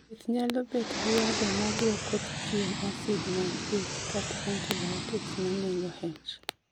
Thieth nyalo bet gi yathe ma duoko chien acid mag ich, kata antibiotics ma nego H